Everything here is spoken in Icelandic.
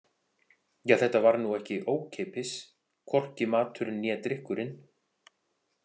Ja, þetta var nú ekki ókeypis, hvorki maturinn né drykkurinn.